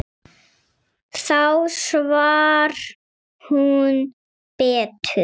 Þá svaf hún betur.